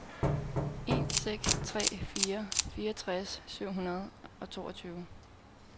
en seks tre fire fireogtres syv hundrede og toogtyve